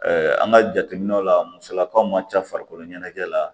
an ka jateminɛw la musolakaw ma ca farikolo ɲɛnajɛ la